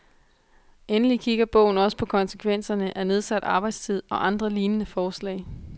Endelig kigger bogen også på konsekvenserne af nedsat arbejdstid og andre lignende forslag.